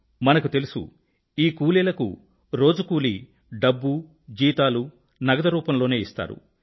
మనకు తెలుసు ఈ కూలీలకు రోజు కూలీ డబ్బు జీతాలూ నగదు రూపంలో ఇస్తారు